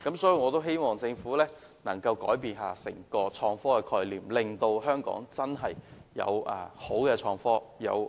所以，我希望政府能改變對創科的思維，令香港能真正有美好的創科和智慧城市發展。